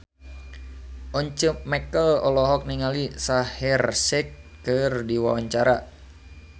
Once Mekel olohok ningali Shaheer Sheikh keur diwawancara